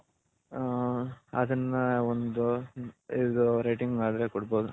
ಹ ಅದನ್ನ ಒಂದು ರೇಟಿಂಗ್ ಮಾಡದ್ರೆ ಕೊಡ್ಬೌದು